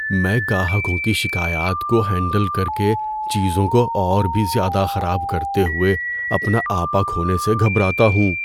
میں گاہکوں کی شکایات کو ہینڈل کر کے چیزوں کو اور بھی زیادہ خراب کرتے ہوئے اپنا آپا کھونے سے گھبراتا ہوں۔